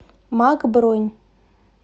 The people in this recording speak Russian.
мак бронь